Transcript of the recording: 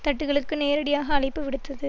தட்டுக்களுக்கு நேரடியாக அழைப்பு விடுத்தது